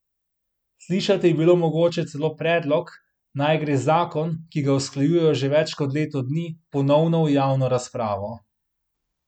Slišati je bilo mogoče celo predlog, naj gre zakon, ki ga usklajujejo že več kot leto dni, ponovno v javno razpravo.